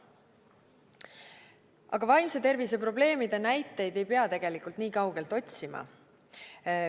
Aga vaimse tervise probleemide näiteid ei pea tegelikult nii kaugelt otsima.